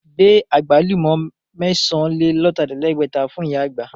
Gbé Àgbálùmọ́ mẹ́sàn-án-lé-lọ̀tàlẹ̀ẹ́dẹ́gbẹ̀ta fún ìyá àgbà!